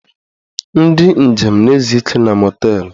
Ndị njem na-ezu ike na mọteelụ